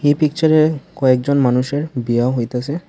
এই পিকচারে কয়েকজন মানুষের বিয়াও হইতাসে।